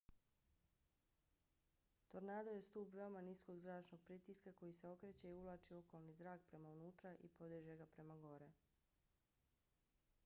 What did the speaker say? tornado je stub veoma niskog zračnog pritiska koji se okreće i uvlači okolni zrak prema unutra i podiže ga prema gore